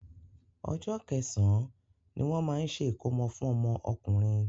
Ọjọ́ kẹsàn-án ní wọ́n máa ń ṣe ìkómọ fún ọmọ ọkùnrin.